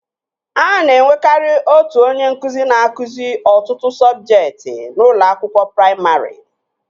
A na-enwekari otu onye nkụzi na-akụzi ọtụtụ sọbjektị n'ụlọ akwụkwọ praimarị